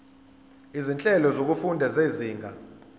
izinhlelo zokufunda zezinga